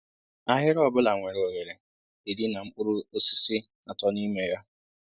Ahịrị ọbula nwere oghere irí na mkpụrụ osisi atọ n'ime ya